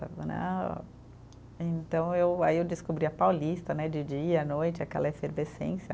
Né, então eu, aí eu descobri a Paulista né, de dia à noite, aquela efervescência.